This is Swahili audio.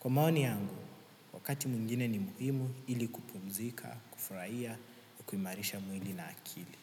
Kwa maoni yangu, wakati mwingine ni muhimu ili kupumzika, kufuraia, na kuimarisha mwili na akili.